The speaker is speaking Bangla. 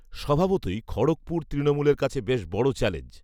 স্বভাবতই খড়্গপুর তৃণমূলের কাছে বেশ বড় চ্যালেঞ্জ